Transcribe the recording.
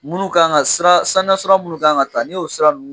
Minnu kan ka sira saniya sira minnu kan ka ta n'i y'o sira ninnu